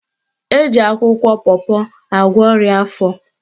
Eji akwụkwọ pọpọ agwọ ọrịa afọ